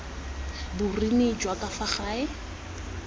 boruni jwa ka fa gare